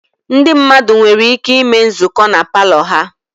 Ndị mmadụ nwere ike ịme nzukọ na palọ ha